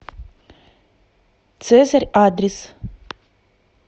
цезарь адрес